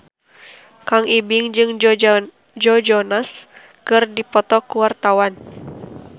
Kang Ibing jeung Joe Jonas keur dipoto ku wartawan